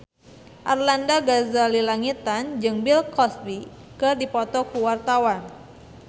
Arlanda Ghazali Langitan jeung Bill Cosby keur dipoto ku wartawan